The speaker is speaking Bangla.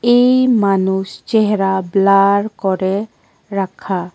এই মানুষ চেহারা ব্লার করে রাখা।